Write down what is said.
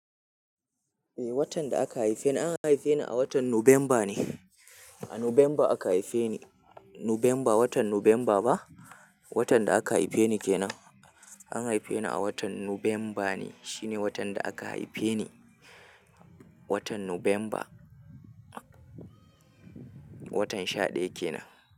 Eh, watan da aka haife ni, an haife ni a watan November ne. A Nuvemba aka haife ni. Nuvemba, watan Nuvemba ba? Watan da aka haife ni kenan. An haife ni a watan November ne. Shine watan da aka haife ni. Watan November. Watan shaɗaya kenan.